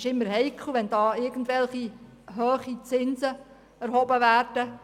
Es ist heikel, wenn in diesem Bereich hohe Zinsen erhoben werden.